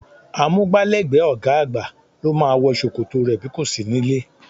Amúgbálẹ́gbẹ̀ẹ́ ọ̀gá àgbà ló máa wọ ṣòkòtò rẹ bí kò sí níllé